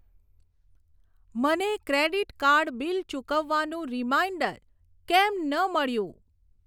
મને credit card bill ચૂકવવાનું reminder કેમ ન મળ્યું?